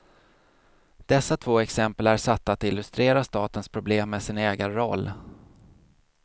Dessa två exempel är satta att illustrera statens problem med sin ägarroll.